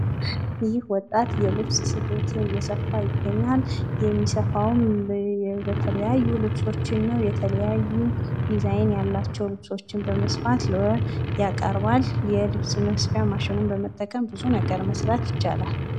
ይህ ወጣት የልብስ ስፌት እየሰፋ ይገኛል ፤ የሚሰፋዉም የተለያዩ ልብሶችን ነው ፣ የተለያዩ ድዛይን ያላቸዉን ልብሶች በመስፋት ያቀርባል ፤ የልብስ ስፌት ማሽኑን በመጠቀም ብዙ ነገር መስራት ይቻላል።